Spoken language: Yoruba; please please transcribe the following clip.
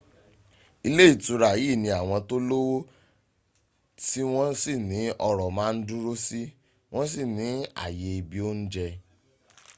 ilé ìtura yìí ní àwọn tó lówó tí wọ́n sì ní ọ́rọ̀ ma dúró si wọ́n sì ní àyè ibi óúnjẹ́